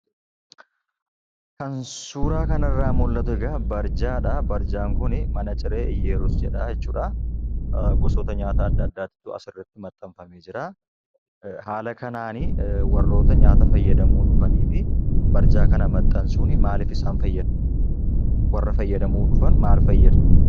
An suuraa kanarraa mul'atu egaa barjaadhaa. Barjaan kunii mana ciree Iyyerus jedhaa jechuudhaa gosoota nyaataa adda addaatu asirratti maxxanfamee jiraa. Ee haala kanaanii warroota nyaata fayyadamuu dhufanifi barjaa kana maxxansuuf maaliif isaan fayyada? Warra fayyyadamuu dhufan maal fayyada?